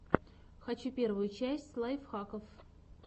хочу первую часть лайфхаков